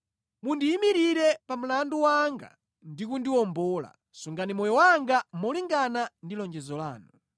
Mundiyimirire pa mlandu wanga ndi kundiwombola; sungani moyo wanga molingana ndi lonjezo lanu.